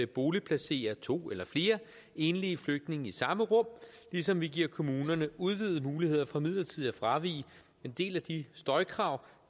boligplacere to eller flere enlige flygtninge i samme rum ligesom vi giver kommunerne udvidet muligheder for midlertidigt at fravige en del af de støjkrav